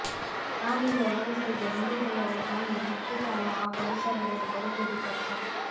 ತಾನಿರುವ ವ್ಯವಸ್ಥೆಗೆ ಹೊಂದಿಕೊಳ್ಳದ ಪ್ರಾಣಿ ಹೆಚ್ಚು ಕಾಲ ಆ ಪರಿಸರದಲ್ಲಿ ಬದುಕುವುದು ಕಷ್ಟ